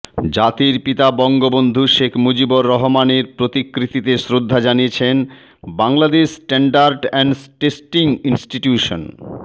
জাতির পিতা বঙ্গবন্ধু শেখ মুজিবুর রহমানের প্রতিকৃতিতে শ্রদ্ধা জানিয়েছেন Bangladesh standard and testing institution